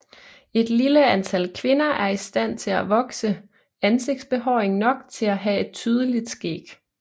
Et lille antal kvinder er i stand til at vokse ansigtsbehåring nok til at have et tydeligt skæg